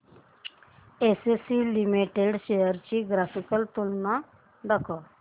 ACC limited shares ची graphical तुलना दाखव